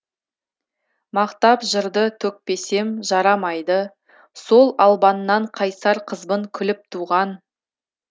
мақтап жырды төкпесем жарамайды сол албаннан қайсар қызбын күліп туған